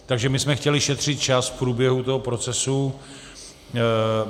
Takže my jsme chtěli šetřit čas v průběhu toho procesu.